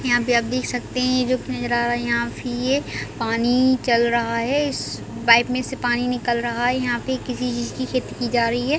यहाँ पे आप देख सकते है जो पिंजरा यहाँ फीह है पानी चल रहा है इस पाइप में से पानी निकल रहा है यहाँ पे किसी चीज़ की खेती की जा रही है।